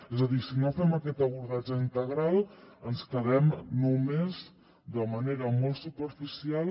és a dir si no fem aquest abordatge integral ens quedem només de manera molt superficial